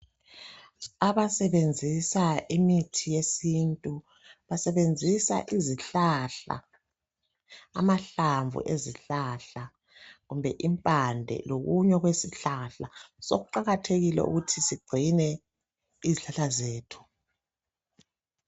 Abasebenzisa imithi yesintu. Basebenzisa izihlahla .Amahlamvu ezihlahla kumbe impande lokunye okwesihlahla sokuqakathekile ukuthi sigcine izihlahla zethu .